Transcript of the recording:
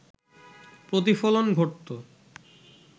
প্রতিফলন ঘটতো